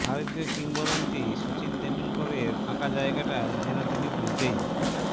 ভারতীয় কিংবদন্তি সচিন তেন্ডুলকরের ফাঁকা জায়গাটা যেন তিনি বুঝতেই